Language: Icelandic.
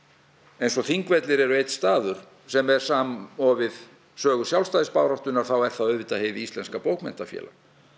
eins og Þingvellir eru einn staður sem er samofið sögu sjálfstæðisbaráttunnar þá er það auðvitað Hið íslenska bókmenntafélag